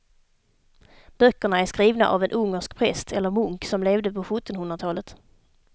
Böckerna är skrivna av en ungersk präst eller munk som levde på sjuttonhundratalet.